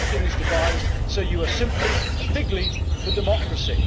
This whole thing is devised so that you are simply a fig leaf of democracy.